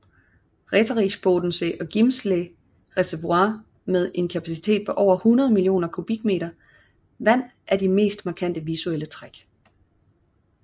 Räterichbodensee og Grimselsee reservoirer med en kapacitet på over 100 millioner kubikmeter vand er de mest markante visuelle træk